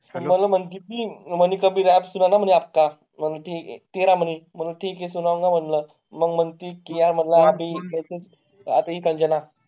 मला म्हणते ती, म्हणे Rap म्हणे , म्हण म्हणे म्हण म्हटलं मग म्हणते तिला म्हणलं आता ही संजना